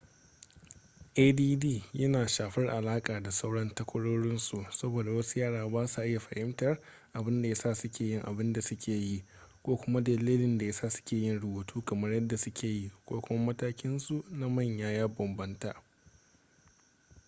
add yana shafar alaƙa da sauran takwarorinsu saboda wasu yara ba sa iya fahimtar abin da ya sa suke yin abin da suke yi ko kuma dalilin da ya sa suke yin rubutu kamar yadda suke yi ko kuma matakinsu na manya ya bambanta